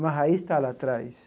Uma raiz está lá atrás.